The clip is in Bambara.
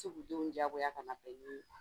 U tɛ se k'u denw diyagoya ka na